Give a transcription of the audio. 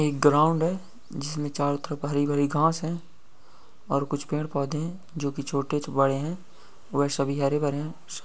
एक ग्राउन्ड है जिसमे चारों तरफ हरी भरी घास है और कुछ पेड़ पौधे है जोकि छोटे बड़े हैं वह सभी हरे भरे हैं।